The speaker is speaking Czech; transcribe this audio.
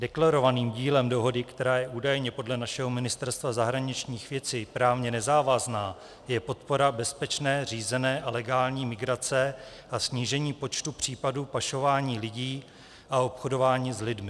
Deklarovaným cílem dohody, která je údajně podle našeho Ministerstva zahraničních věcí právně nezávazná, je podpora bezpečné, řízené a legální migrace a snížení počtu případů pašování lidí a obchodování s lidmi.